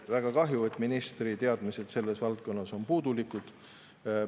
Väga kahju, et ministri teadmised selles valdkonnas on puudulikud.